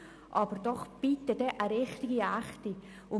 Aber doch bitte dann eine richtige, echte Steuersenkung!